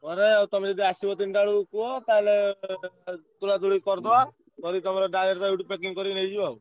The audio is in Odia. ତମେ ଯଦି ଆସିବ ତିନିଟା ବେଳକୁ କୁହ ତାହେଲେ ତୋଳା ତୋଳି କରିଦବା ।